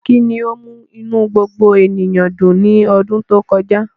Kí ni ó mú inú gbogbo ènìyàn dùn ní ọdún tó kọjá?